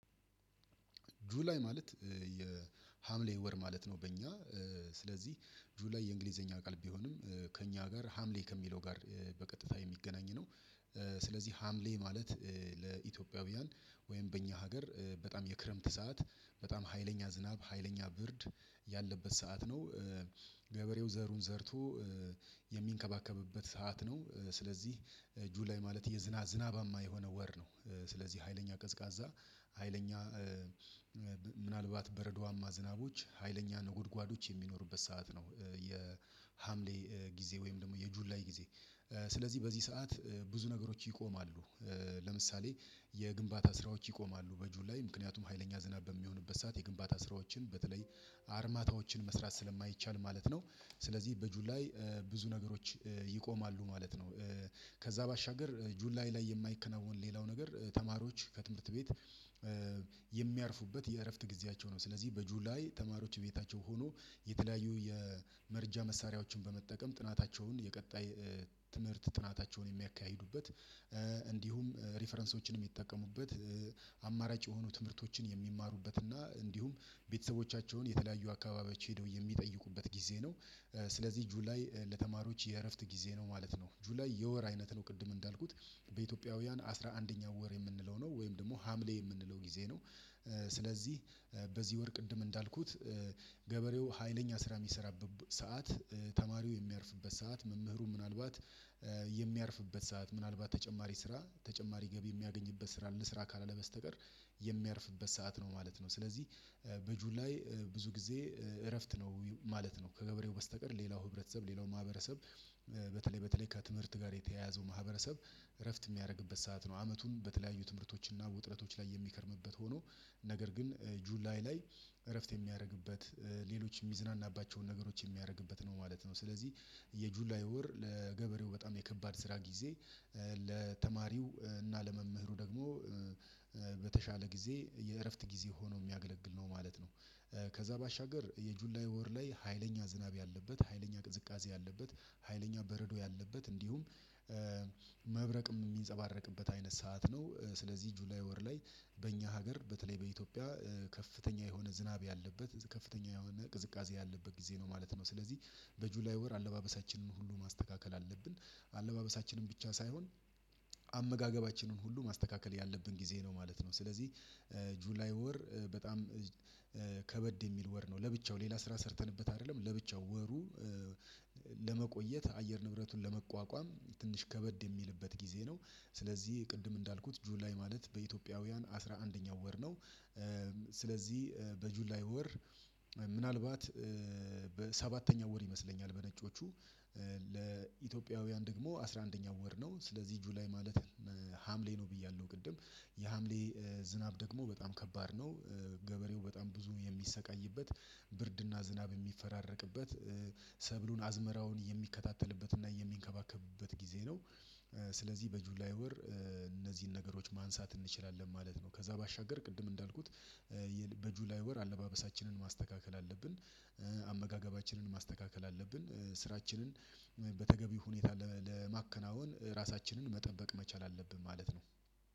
ጁላይ ማለት የሀምሌ ወር ማለት ነው። በእኛ ስለዚህ ጁላይ የእንግሊዘኛ ቃል ቢሆንም ከእኛ ጋር ሀምሌ ከሚለው ጋር በቀጥታ የሚገናኝ ነው። ስለዚህ ሀምሌ ማለት ለኢትዮጵያውያን ወይም በእኛ ሀገር በጣም የክረምት ሰዓት በጣም ሀይለኛ ዝናብ ሀይለኛ ብርድ ያለበት ሰዓት ነው። ገበሬው ዘሩን ዘርቶ የሚንከባከብበት ሰዓት ነው። ስለዚህ ጁላይ ማለት የዝና ዝናባማ የሆነ ወር ነው። ስለዚህ ሀይለኛ ቀዝቃዛ ሀይለኛ ምናልባት በረዷማ ዝናቦች ሀይለኛ ነጎድጓዶች የሚኖሩበት ሰዓት ነው። የሀምሌ ጊዜ ወይም ደግሞ የጁላይ ጊዜ ስለዚህ በዚህ ሰዓት ብዙ ነገሮች ይቆማሉ። ለምሳሌ የግንባታ ስራዎች ይቆማሉ በጁላይ ላይ ምክንያቱም ሀይለኛ ዝናብ በሚሆንበት ሰዓት የግንባታ ስራዎችን በተለይ አርማታዎችን መስራት ስለማይቻል ማለት ነው። ስለዚህ በጁላይ ብዙ ነገሮች ይቆማሉ ማለት ነው። ከዛ ባሻገር ጁላዬ ላይ የማይከናወን ሌላው ነገር ተማሪዎች ከትምህርት ቤት የሚያርፉበት የእረፍት ጊዜያቸው ነው። ስለዚህ በጁላይ ተማሪዎች ቤታቸው ሆኖ የተለያዩ የመረጃ መሳሪያዎችን በመጠቀም ጥናታቸውን የቀጣይ ትምህርት ጥናታቸውን የሚያካሂዱበት እንዲሁም ሪፈረንሶችንም የሚጠቀሙበት አማራጭ የሆኑ ትምህርቶችን የሚማሩበት እና እንዲሁም ቤተሰቦቻቸውን የተለያዩ አካባቢዎች ሄደው የሚጠይቁበት ጊዜ ነው። ስለዚህ ጁላይ ለተማሪዎች የእረፍት ጊዜ ነው ማለት ነው። ጁላይ የወር አይነት ነው ቅድም እንዳልኩት በኢትዮጵያውያን አስራ አንደኛው ወር የምንለው ነው ወይም ደግሞ ሀምሌ የምንለው ጊዜ ነው። ስለዚህ በዚህ ወር ቅድም እንዳልኩት ገበሬው ሀይለኛ ስራ የሚሰራበት ሰዓት ተማሪው የሚያርፍበት ሰዓት መምህሩ ምናልባት የሚያርፍበት ሰዓት ምናልባት ተጨማሪ ስራ ተጨማሪ ገቢ የሚያገኝበት ስራ ልስራ ካላለ በስተቀር የሚያርፍበት ሰዓት ነው ማለት ነው። ስለዚህ በጁል ላይ ብዙ ጊዜ እረፍት ነው ማለት ነው። ከገበሬው በስተቀር ሌላው ህብረተሰብ ሌላው ማህበረሰብ በተለይ በተለይ ከትምህርት ጋር የተያያዘው ማህበረሰብ እረፍት የሚያደርግበት ሰዓት ነው። አመቱን በተለያዩ ትምህርቶች እና ውጥረቶች ላይ የሚከርምበት ሆኖ ነገር ግን ጁላይ ላይ እረፍት የሚያደርግበት ሌሎች የሚዝናናባቸውን ነገሮች የሚያደርግበት ነው ማለት ነው። ስለዚህ የጁላይ ወር ለገበሬው በጣም የከባድ ስራ ጊዜ ለተማሪው እና ለመምህሩ ደግሞ በተሻለ ጊዜ የእረፍት ጊዜ ሆኖ የሚያገለግል ነው ማለት ነው። ከዛ ባሻገር የጁላይ ወር ላይ ሀይለኛ ዝናብ ያለበት ሀይለኛ ቅዝቃዜ ያለበት ሀይለኛ በረዶ ያለበት እንዲሁም መብረቅ የሚንጸባረቅበት አይነት ሰዓት ነው። ስለዚህ ጁላይ ወር ላይ በእኛ ሀገር በተለይ በኢትዮጵያ ከፍተኛ የሆነ ዝናብ ያለበት ከፍተኛ የሆነ ቅዝቃዜ ያለበት ጊዜ ነው ማለት ነው። ስለዚህ በጁላይ ወር አለባበሳችንን ሁሉ ማስተካከል አለብን አለባበሳችንን ብቻ ሳይሆን አመጋገባችንን ሁሉ ማስተካከል ያለብን ጊዜ ነው ማለት ነው። ስለዚህ ጁላይ ወር በጣም ከበድ የሚል ወር ነው ለብቻው ሌላ ስራ ሰርተንበት አይደለም ለብቻው ወሩ ለመቆየት አየር ንብረቱን ለመቋቋም ትንሽ ከበድ የሚልበት ጊዜ ነው። ስለዚህ ቅድም እንዳልኩት ጁላይ ማለት በኢትዮጵያውያን አስራ አንደኛው ወር ነው። ስለዚህ በጁላይ ወር ምናልባት በሰባተኛው ወር ይመስለኛል በነጮቹ ለኢትዮጵያውያን ደግሞ አስራ አንደኛው ወር ነው ስለዚህ ጁላይ ማለት ሀምሌ ነው ብያለሁ ቅድም የሀምሌ ዝናብ ደግሞ በጣም ከባድ ነው። ገበሬው በጣም ብዙ የሚሰቃይበት ብርድና ዝናብ የሚፈራረቅበት ሰብሉን አዝመራውን የሚከታተልበትና የሚንከባከብበት ጊዜ ነው። ስለዚህ በጁላይ ወር እነዚህን ነገሮች ማንሳት እንችላለን ማለት ነው። ከዛ ባሻገር ቅድም እንዳልኩት በጁላይ ወር አለባበሳችንን ማስተካከል አለብን። አመጋገባችንን ማስተካከል አለብን። ስራችንን በተገቢ ሁኔታ ለማከናወን ራሳችንን መጠበቅ መቻል አለብን ማለት ነው።